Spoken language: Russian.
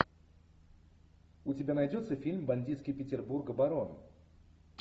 у тебя найдется фильм бандитский петербург барон